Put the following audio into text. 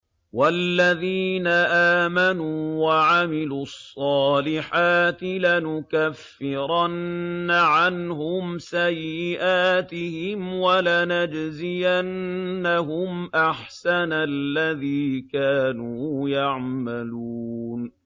وَالَّذِينَ آمَنُوا وَعَمِلُوا الصَّالِحَاتِ لَنُكَفِّرَنَّ عَنْهُمْ سَيِّئَاتِهِمْ وَلَنَجْزِيَنَّهُمْ أَحْسَنَ الَّذِي كَانُوا يَعْمَلُونَ